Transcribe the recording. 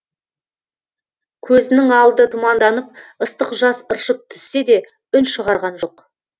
көзінің алды тұманданып ыстық жас ыршып түссе де үн шығарған жоқ